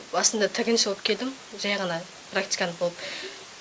басында тігінші боп келдім жай ғана практикант болып